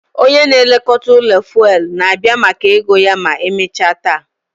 Onye na-elekọta ụlọ fuelu na-abịa maka ego ya ma emechaa taa